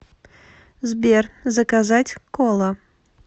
сбер заказать кола